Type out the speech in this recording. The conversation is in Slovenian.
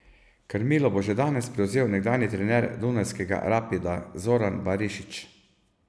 Krmilo bo že danes prevzel nekdanji trener dunajskega Rapida Zoran Barišić.